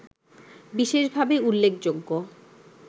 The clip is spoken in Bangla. বিশেষভাবে উল্লেখযোগ্য